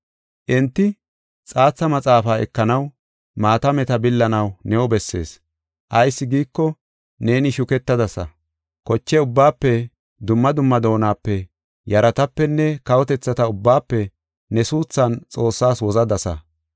Enti, “Xaatha maxaafaa ekanaw, maatameta billanaw new bessees. Ayis giiko, neeni shuketadasa; koche ubbaafe, dumma dumma doonape, yaratapenne kawotethata ubbaafe ne suuthan Xoossaas wozadasa.